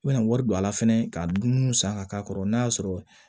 I bɛna wari don a la fɛnɛ ka dumuniw san ka k'a kɔrɔ n'a y'a sɔrɔ